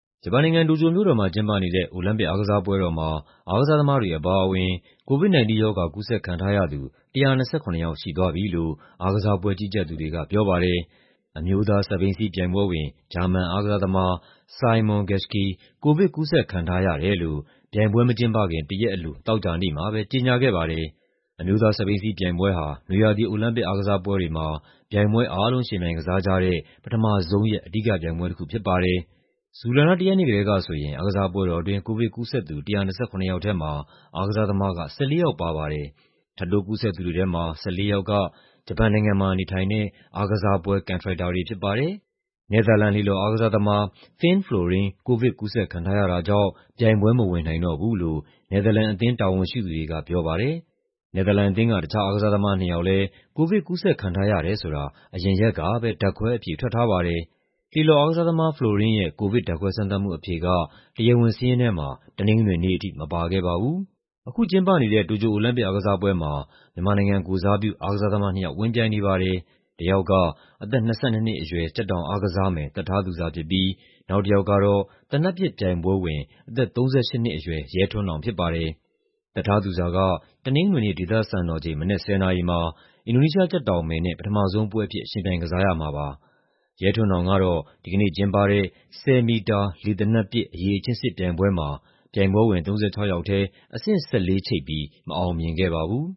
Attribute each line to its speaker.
Speaker 1: ဂျပန်နိုင်ငံ၊ တိုကျိုမြို့တော်မှာ ကျင်းပနေတဲ့ အိုလံပစ်အားကစားပွဲတော်မှာ အားကစားသမားတွေ အပါအဝင် COVID-19 ရောဂါ ကူးစက်ခံထားရသူ ၁၂၇ ယောက် ရှိသွားပြီလို့ အားကစားပွဲ ကြီးကြပ်သူတွေကပြောပါတယ်။ အမျိုးသား စက်ဘီးစီးပြိုင်ပွဲဝင် ဂျာမန်အားကစားသမား Simon Geschke ကိုဗစ်ကူးစက်ခံထားရတယ်လို့ ပြိုင်ပွဲမကျင်းပခင် တရက်အလို သောကြာနေ့မှာပဲ ကြေညာခဲ့ပါတယ်။ အမျိုးသား စက်ဘီးစီးပြိုင်ပွဲဟာ နွေရာသီ အိုလံပစ်အားကစားပွဲတွေမှာ ပြိုင်ပွဲအားလုံး ယှဉ်ပြိုင်ကစားကြတဲ့ ပထမဆုံးရက် အဓိကပြိုင်ပွဲတခုဖြစ်ပါတယ်။ ဇူလိုင်လ ၁ ရက်နေ့ကတည်းကဆိုရင် အားကစားပွဲတော်အတွင်း ကိုဗစ်ကူးစက်သူ ၁၂၇ ယောက်ထဲမှာ အားကစားသမားက ၁၄ ယောက်ပါပါတယ်။ ထပ်တိုးကူးစက်သူတွေထဲမှာ ၁၄ ယောက်က ဂျပန်နိုင်ငံမှာ နေထိုင်တဲ့ အားကစားပွဲ ကန်ထရိုက်တာတွေ ဖြစ်ကြပါတယ်။ နယ်သာလန် လှေလှော်အားကစားသမား Finn Florijn ကိုဗစ်ကူးစက်ခံထားရတာကြောင့် ပြိုင်ပွဲမဝင်နိုင်တော့ဘူးလို့ နယ်သာလန်အသင်း တာဝန်ရှိသူတွေကပြောပါတယ်။ နယ်သာလန်အသင်းက တခြား အားကစားသမား နှစ်ယောက်လည်း ကိုဗစ်ကူးစက်ခံထားရတယ်ဆိုတာ အရင်ရက်ကပဲ ဓာတ်ခွဲအဖြေ ထွက်ထားပါတယ်။ လှေလှော်အားကစားသမား Florijn ရဲ့ ကိုဗစ် ဓာတ်ခွဲစမ်းသပ်မှုအဖြေက တရားဝင်စာရင်းထဲမှာ တနင်္ဂနွေနေ့အထိ မပါခဲ့ပါဘူး။ အခုကျင်းပနေတဲ့ တိုကျို အိုလံပစ်အားကစားပွဲမှာ မြန်မာနိုင်ငံကိုယ်စားပြု အားကစားသမား နှစ်ယောက် ဝင်ပြိုင်နေပါတယ်။ တယောက်က အသက် ၂၂ အရွယ် ကြက်တောင်အားကစားမယ် သက်ထားသူဇာဖြစ်ပြီး နောက်တယောက်ကတော့ သေနတ်ပစ်ပြိုင်ပွဲဝင် အသက် ၃၈ နှစ်အရွယ် ရဲထွန်းနောင်ဖြစ်ပါတယ်။ သက်ထားသူဇာက တနင်္ဂနွေနေ့ ဒေသစံတော်ချိန် မနက် ၁၀ နာရီမှာ အင်ဒိုနီးရှား ကြက်တောင်မယ်နဲ့ ပထမဆုံးပွဲအဖြစ် ယှဉ်ပြိုင်ကစားရမှာဖြစ်ပါတယ်။ ရဲထွန်းနောင်ကတော့ ဒီနေ့ကျင်းပတဲ့ ၁၀ မီတာ လေသေနတ်ပစ် အရည်အချင်းစစ်ပြိုင်ပွဲမှာ ပြိုင်ပွဲဝင် ၃၆ ယောက်ထဲ အဆင့် ၁၄ ချိတ်ပြီး မအောင်မြင်ခဲ့ပါဘူး